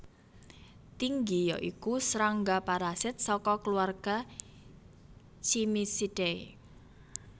Tinggi ya iku srangga parasit saka keluarga Cimicidae